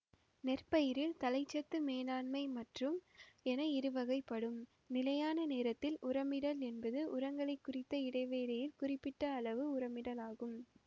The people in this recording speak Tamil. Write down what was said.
நெற்பயிரில் தழைச்சத்து மேலாண்மை மற்றும் என இரு வகைப்படும் நிலையான நேரத்தில் உரமிடல் என்பது உரங்களை குறித்த இடைவெளியில் குறிப்பிட்ட அளவு உரமிடலாகும்